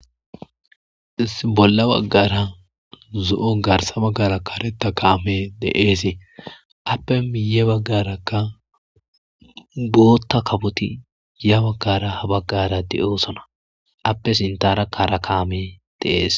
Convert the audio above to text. iss bolla baggara zo'o garsa baggara kareta kaame deeesee appe miye baggarakka bootta kafoti ya baggara ha baggara deyoosona appe sintara kara kaame deees.